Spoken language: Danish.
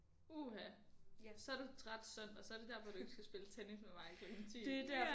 Uha så er du træt søndag så er det derfor du ikke skal spille tennis med mig klokken 10